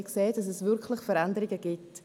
Wir sahen, dass es wirklich Veränderungen gab.